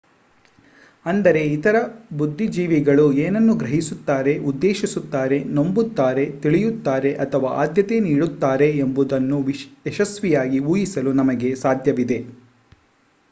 ಅಂದರೆ ಇತರೆ ಬುದ್ಧಿಜೀವಿಗಳು ಏನನ್ನು ಗ್ರಹಿಸುತ್ತಾರೆ ಉದ್ದೇಶಿಸುತ್ತಾರೆ ನಂಬುತ್ತಾರೆ ತಿಳಿಯುತ್ತಾರೆ ಅಥವಾ ಆದ್ಯತೆ ನೀಡುತ್ತಾರೆ ಎಂಬುದನ್ನು ಯಶಸ್ವಿಯಾಗಿ ಊಹಿಸಲು ನಮಗೆ ಸಾಧ್ಯವಿದೆ